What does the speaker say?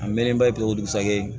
A mɛnnen ba bɛ kɛ o dugusajɛ